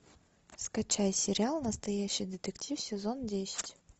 скачай сериал настоящий детектив сезон десять